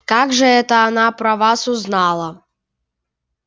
как же это она про вас узнала